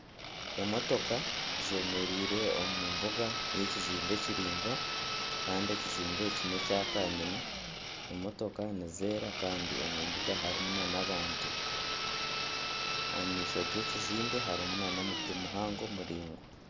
Emotooka zemereire omu mbuga y'ekizimbe kiraingwa kandi ekizimbe eki nekya kanyina emotooka nizeera kandi omu mbuga harimu na n'abantu omu maisho g'ekizimbe harimu na n'omuti muhango muraingwa.